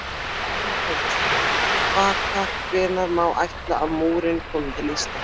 Telma Tómasson: Vaka, hvenær má áætla að múrinn komi til Íslands?